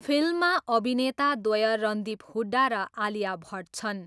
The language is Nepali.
फिल्ममा अभिनेताद्वय रणदीप हुड्डा र आलिया भट्ट छन्।